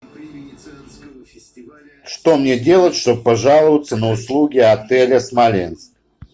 что мне делать чтоб пожаловаться на услуги отеля смоленск